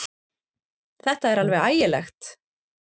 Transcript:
Þetta er alveg ægilegt!